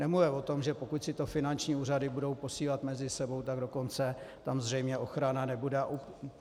Nemluvě o tom, že pokud si to finanční úřady budou posílat mezi sebou, tak dokonce tam zřejmě ochrana nebude.